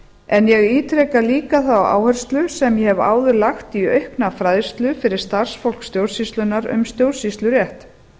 en ég ítreka líka þá áherslu sem ég hef áður lagt í aukna fræðslu fyrir starfsfólk stjórnsýslunnar um stjórnsýslurétt